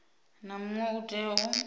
na muṅwe u tea u